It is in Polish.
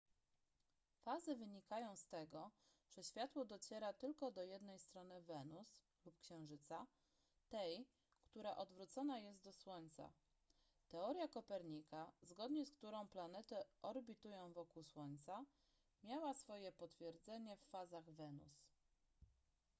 fazy wynikają z tego że światło dociera tylko do jednej strony wenus lub księżyca tej która odwrócona jest do słońca. teoria kopernika zgodnie z którą planety orbitują wokół słońca miała swoje potwierdzenie w fazach wenus